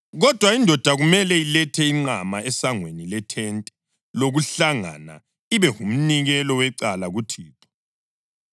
Kodwa indoda kumele ilethe inqama esangweni lethente lokuhlangana, ibe ngumnikelo wecala kuThixo.